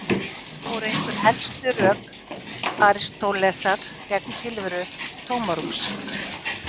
Þetta voru einhver helstu rök Aristótelesar gegn tilveru tómarúms.